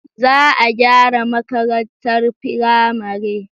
Za a gyara makarantar firamare.